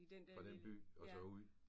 Fra den by og så ud